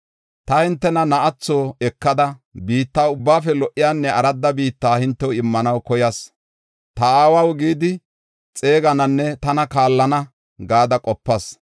“Ta hintena na7atho ekada, biitta ubbaafe lo77iyanne aradda biitta hintew immanaw koyas. ‘Ta aawaw’ gidi xeegananne tana kaallana gada qopas.